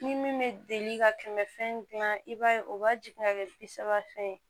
Ni min bɛ deli ka kɛmɛ fɛn dilan dilan i b'a ye o b'a jigin ka kɛ bi saba fɛn ye